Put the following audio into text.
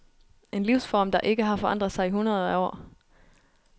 En livsform der ikke har forandret sig i hundreder af år.